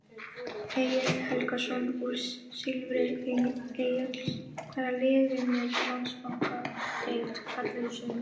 Egill Helgason úr Silfri Egils Hvaða lið vinnur Landsbankadeild karla í sumar?